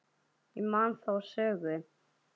Ég man þá sögu.